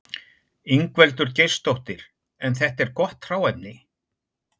Ingveldur Geirsdóttir: En þetta er gott hráefni?